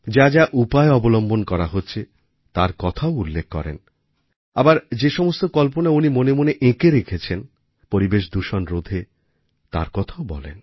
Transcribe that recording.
যা যা উপায় অবলম্বন করা হচ্ছে তার কথাও উল্লেখ করেন আবার যে সমস্ত কল্পনা উনি মনে মনে এঁকে রেখেছেন পরিবেশ দূষণ রোধে তার কথাও বলেন